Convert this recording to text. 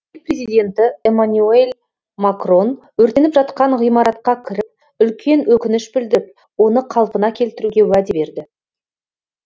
ел президенті эмманюэль макрон өртеніп жатқан ғимаратқа кіріп үлкен өкініш білдіріп оны қалпына келтіруге уәде берді